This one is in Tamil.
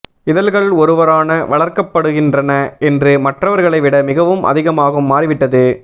இதழ்கள் ஒருவரான வளர்க்கப்படுகின்றன என்று மற்றவர்களை விட மிகவும் அதிகமாகும் மாறிவிட்டது